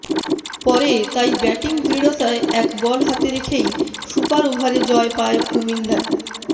পরে তাই ব্যাটিং দৃঢ়তায় এক বল হাতে রেখেই সুপার ওভারে জয় পায় কুমিল্লা